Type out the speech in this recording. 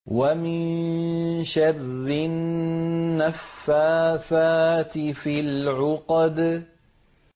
وَمِن شَرِّ النَّفَّاثَاتِ فِي الْعُقَدِ